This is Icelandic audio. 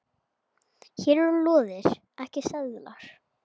Hér eru lóðir ekki seldar.